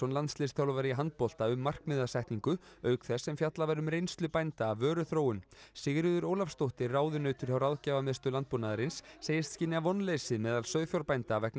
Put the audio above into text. landsliðsþjálfari í handbolta um markmiðasetningu auk þess sem fjallað var um reynslu bænda af vöruþróun Sigríður Ólafsdóttir ráðunautur hjá Ráðgjafarmiðstöð landbúnaðarins segist skynja vonleysi meðal sauðfjárbænda vegna